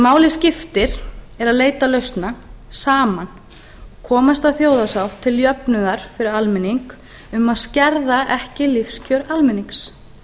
máli skiptir er að leita lausna saman koma af stað þjóðarsátt til jöfnunar fyrir almenning um að skerða ekki lífskjör almennings